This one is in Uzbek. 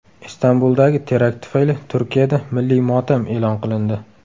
Istanbuldagi terakt tufayli Turkiyada milliy motam e’lon qilindi.